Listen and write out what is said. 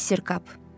Mister Kap.